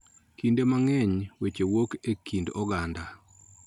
Kinde mang'eny weche wuok e kind oganda.